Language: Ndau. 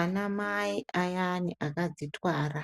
Anamai ayani akadzitwara